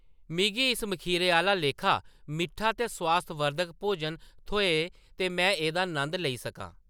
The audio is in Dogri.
मिगी इस मखीरै दे आह्‌ला लेखा मिट्ठा ते स्वास्थवर्धक भोजन थ्होऐ ते में एह्‌‌‌दा नंद लेई सकां !